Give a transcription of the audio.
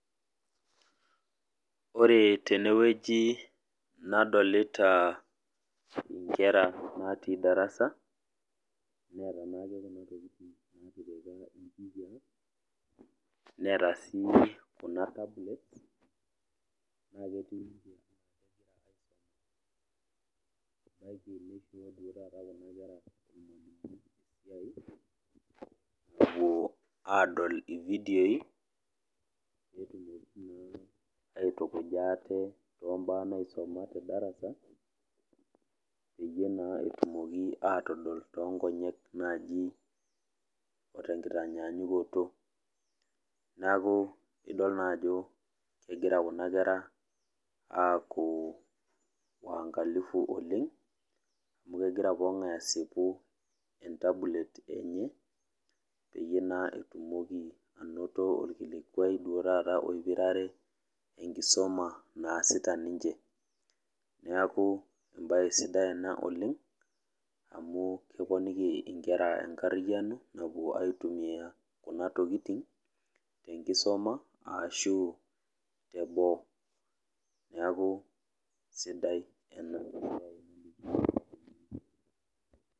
Ore tenewueji nadolita inkera natii darasa neeta sii kuna tablets naa kepuo adol ividioi petumoki aitukuja ate tombaa naisuma tedarasa peyie etumoki naa atodol tonkonyek naji otenktanynyakuto niaku idol naa ajo egira kuna kera aaku waankalifu oleng amukegira pokingae asipu entablet enye peyie naa etumoki anoto okilikwai oipirare enkisuma naasita ninche niaku embae sidai ena oleng amukeponiki inkera enkariano napuo aitumia kunatokitin tenkisoma ashu teboo niaku sidai enabae oleng.